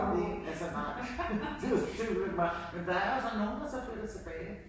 Der var ingen altså nej det det var altså nej men der er jo så nogen der så flytter tilbage